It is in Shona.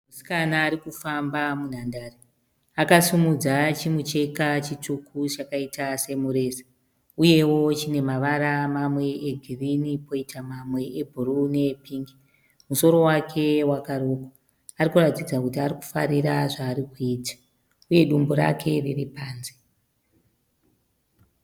Musikana arikufamba munhandare. Akasimudza chimucheka chitsvuku chakaita semureza uyewo chine mavara mamwe egirinhi poitawo mamwe ebhuruu neepingi. Musoro wake wakarukwa. Arikuratidza kuti arikufarira zvaari kuita uye dumbu rake riri panze.